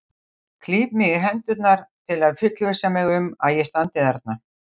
Klíp mig í hendurnar til að fullvissa mig um að ég standi þarna.